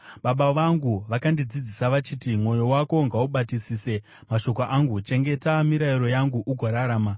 baba vangu vakandidzidzisa vachiti, “Mwoyo wako ngaubatisise mashoko angu; chengeta mirayiro yangu ugorarama.